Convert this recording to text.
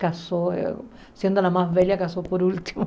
Casou, sendo a mais velha, casou por último.